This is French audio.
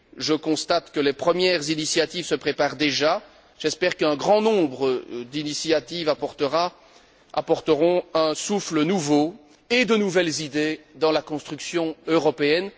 Je constate que les premières initiatives se préparent déjà, j'espère qu'un grand nombre d'initiatives apporteront un souffle nouveau et de nouvelles idées dans la construction européenne.